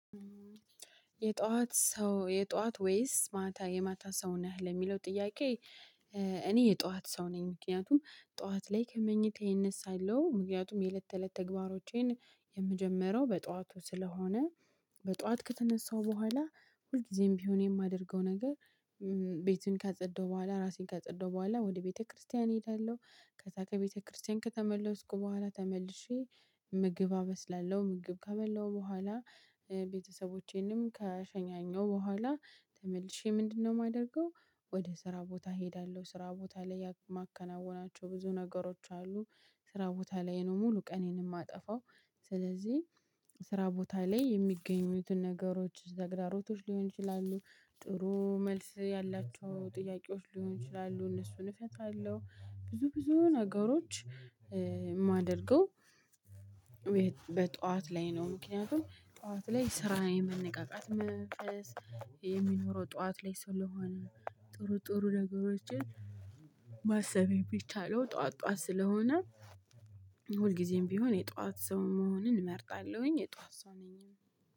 የጧት ወይስ ማታ የማታ ሰው ነህ? ለሚለው ጥያቄ እኔ የጧት ሰው ነኝ። ምክንያቱም ጧት ላይ ከመኝታዬ እነሳለው። ምክንያቱም የለት ከእለት ተግባሮቼን የምጀምረው በጧቱ ስለሆነ በጧት ከተነሳው በኋላ ሁልጊዜም ቢሆን የማደርገው ነገር ቤቱን ካጸዳሁ በኋላ ራሴን ካጸዳሁ በኋላ ወደ ቤተክርስቲያን እሄዳለሁ። ከዛ ከቤተክርስቲያን ከተመለስኩ በኋላ ተመልሼ ምግብ አበስላለሁ። ምግብ ከበላሁ በኋላ ቤተሰቦቼንም ከሸኛኘው በኋላ ተመልሼ ምንድነው የማደርገው ወደ ስራ ቦታ እሄዳለሁ። ስራ ቦታ ላይ የማከናውናቸው ብዙ ነገሮች አሉ። ስራ ቦታ ላይ ነው ሙሉ ቀኔንም የማጠፋው ስለዚህ ስራ ቦታ ላይ የሚገኙትን ነገሮች ተግዳሮቶች ሊሆን ይችላ፤ ጥሩ መልስ ያላቸው ጥያቄዎች ሊሆን ይችላሉ። እነሱን እፈታለሁ። ብዙ ብዙ ነገሮች የማደርገው በጧት ላይ ነው። ምክንያቱም ጧት ላይ ስራ የመነቀቃት መንፈስ የሚኖረው ጠዋት ላይ ስለሆነ ጥሩ ጥሩ ነገሮችን ማሰብ የሚቻለው ጠዋት ጠዋት ስለሆነ ሁልጊዜም ቢሆን የጠዋት ሰው መሆንን እመርጣለሁኝ። የጧት ሰው ነኝ።